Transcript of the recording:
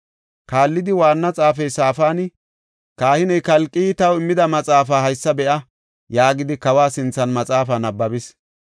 Kaallidi, waanna xaafey Safaani, “Kahiney Kalqey taw immida maxaafaa haysa be7a” yaagidi kawa sinthan maxaafaa nabbabis.